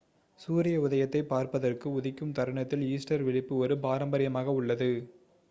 சூரிய உதயத்தைப் பார்ப்பதற்கு உதிக்கும் தருணத்தில் ஈஸ்டர் விழிப்பு ஒரு பாரம்பரியமாக உள்ளது